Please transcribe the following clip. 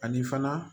Ani fana